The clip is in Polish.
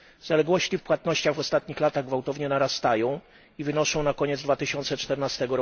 Zaległości w płatnościach w ostatnich latach gwałtownie narastają i wynoszą na koniec 2014